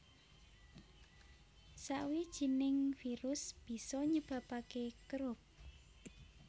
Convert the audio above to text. Sawijining virus bisa nyebabake Croup